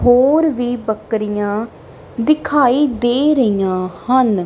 ਹੋਰ ਵੀ ਬੱਕਰੀਆਂ ਦਿਖਾਈ ਦੇ ਰਹੀਆਂ ਹਨ।